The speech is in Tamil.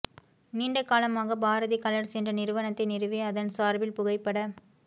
நீண்ட காலமாக பாரதி கலர்ஸ் என்ற நிறுவனத்தை நிறுவி அதன் சார்பில் புகைப்பட